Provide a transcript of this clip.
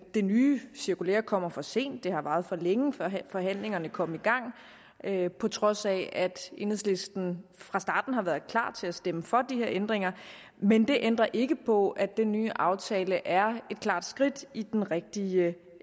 det nye cirkulære kommer for sent det har varet for længe før forhandlingerne kom i gang på trods af at enhedslisten fra starten har været klar til at stemme for de her ændringer men det ændrer ikke på at den nye aftale er et klart skridt i den rigtige